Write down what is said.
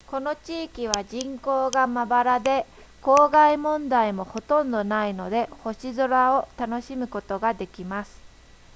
この地域は人口がまばらで光害問題もほとんどないので星空を楽しむことができます